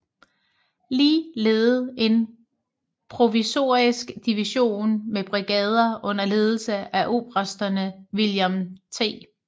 Lee ledede en provisorisk division med brigader under ledelse af obersterne William T